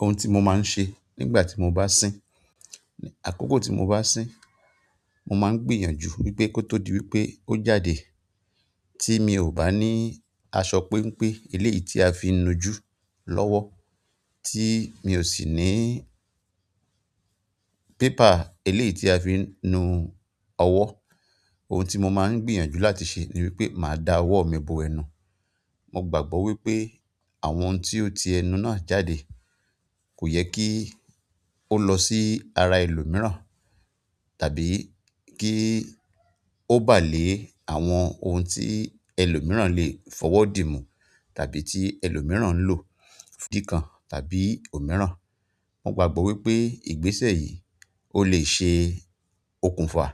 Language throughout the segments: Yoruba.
Ohun tí mo máa ń ṣe nígbà tí mo bá sín, àkókò tí mo bá sín, mo máa ń gbìyànjú wípé kó tó di wípé ó jáde tí mi ò bá ní aṣọ péńpé ilé tí a fi ń nu jú lọ́wọ́, tí mi ò sì ní pépà, eléyi ti a fi ń nu ọwọ́. Ohun tí mo máa ń gbìyànjú láti ṣe ni wípé màá da ọwọ́ mi bo ẹnu. Mo gbàgbọ́ wípé àwọn ohun tí ó ti ẹnu náà jáde kò yẹ kí ó lọ sí ara ẹlòmíràn, tàbí kí ó bà lé àwọn ohun tí ẹlòmíràn lè fọ̀wọ́ di mú tàbí tí ẹlòmíràn ń lò fún ìdí kan tàbí òmíràn. Mo gbàgbọ́ wípé ìgbésẹ̀ yìí ó lè ṣe okùnfà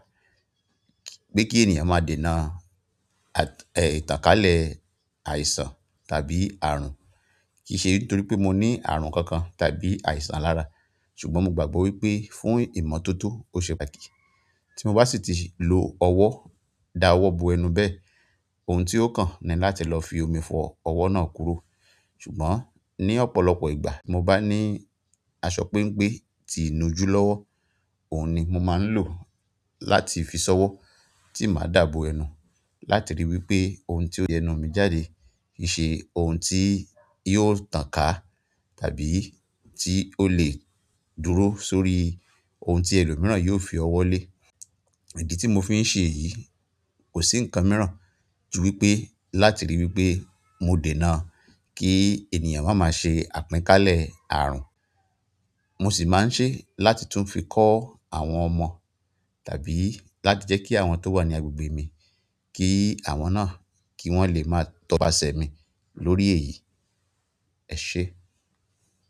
pé kí ènìyàn máa dènà ìtànkálẹ̀ àìsàn tàbí àrùn. Kì í ṣe nítorí pé mo ní àrùn kankan tàbí àìsàn lára, ṣùgbọ́n mo gbàgbọ́ wípé fún ìmọ́tótó ó ṣe báki. Tí mo bá sì ti lo ọwọ́ da ọwọ́ bo ẹnu bẹ́ẹ̀, ohun tí ó kàn ni láti lọ fi omi fọ ọwọ́ náà kúrò. Ṣùgbọ́n ní ọ̀pọ̀lọpọ̀ ìgbà mo bá ní aṣọ péńpé tí ń inujú lọ́wọ́, òun ni mo máa ń lò láti fi ṣọwọ́ tí màá dà bo ẹnu láti ríi wípé ohun tí ó ti ẹnu mi jáde kì í ṣe ohun tí yóò tàn ká tàbí tí ó lè dúró sórí ohun tí ẹlòmíràn yóò fi ọwọ́ lé. Idi tí mo fi ń ṣe èyí kò sí nǹkan mìíràn ju wípé láti ríi wípé mo dènà kí ènìyàn máa ma ṣe àpínkálẹ̀ àrùn. Mo sì máa ń ṣe láti tún fi kọ́ àwọn ọmọ tàbí láti jẹ́ kí àwọn tó wà ní agbègbè mi, kí àwọn náà kí wọ́n lè máa tọpa ṣẹ̀ mi lórí èyí. Ẹ̀ ṣe?